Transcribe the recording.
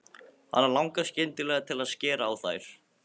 Hana langar skyndilega til að skera á þær.